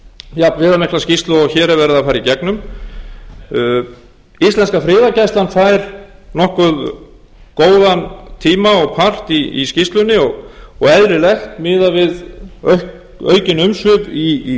jafnviðamikla skýrslu og hér er verið að fara í gegnum íslenska friðargæslan fær nokkuð góðan tíma og part í skýrslunni og eðlilegt miðað við aukin umsvif í